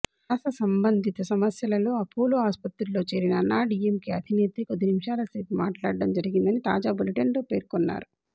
శ్వాస సంబంధిత సమస్యంలో అపోలో ఆసుపత్రిలో చేరిన అన్నాడిఎంకె అధినేత్రి కొద్ది నిముషాలసేపుమాట్లాడడం జరిగిందని తాజా బులెటిన్లో పేర్కొన్నారు